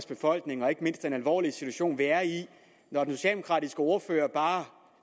befolkning og ikke mindst om den alvorlige situation vi er i når den socialdemokratiske ordfører bare